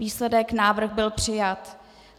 Výsledek: návrh byl přijat.